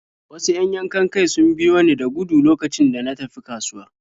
Wasu 'yan yankan-kai sun biyo ni da gudu lokacin da na tafi kasuwa.